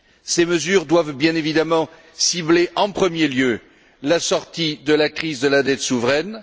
Ces mesures doivent bien évidemment cibler en premier lieu la sortie de la crise de la dette souveraine.